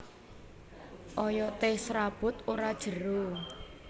Oyoté serabut ora jero